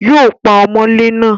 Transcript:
Yóò pa ọmọlé náà